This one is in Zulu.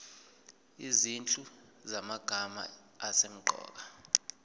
izinhlu zamagama asemqoka